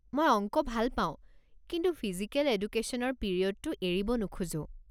মই অংক ভাল পাওঁ, কিন্তু ফিজিকেল এডুকেশ্যনৰ পিৰিয়ডটো এৰিব নোখোজো।